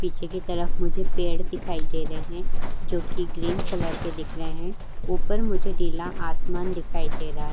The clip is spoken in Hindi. पीछे की तरफ मुझे पेड़ दिखाई दे रहे हैं जोकि ग्रीन कलर के दिख रहे हैं। ऊपर मुझे नीला आसमान दिखाई दे रहा है।